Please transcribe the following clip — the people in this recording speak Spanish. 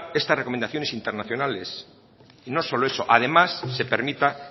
estas recomendaciones internacionales y no solo eso además se permita